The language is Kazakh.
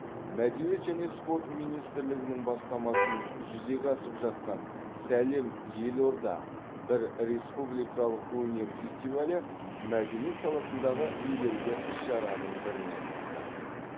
мәдениет және спорт министрлігінің бастамасымен жүзеге асып жатқан сәлем елорда бір республикалық өнер фестивалі мәдениет саласындағы елеулі іс шараның біріне айналды